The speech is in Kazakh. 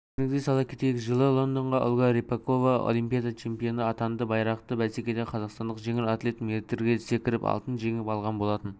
естеріңізге сала кетейік жылы лондонда ольга рыпакова олимпиада чемпионы атанды байрақты бәсекеде қазақстандық жеңіл атлет метрге секіріп алтын жеңіп алған болатын